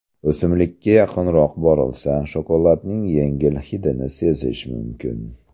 O‘simlikka yaqinroq borilsa, shokoladning yengil hidini sezish mumkin.